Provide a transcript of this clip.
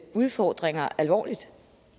udfordringer alvorligt